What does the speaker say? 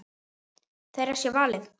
Þeirra sé valið.